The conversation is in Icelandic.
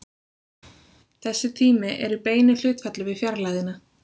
Þessi tími er í beinu hlutfalli við fjarlægðina.